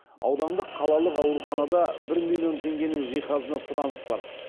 аудандық қалалық ауруханада бір миллион теңгенің жиһазына сұраныс бар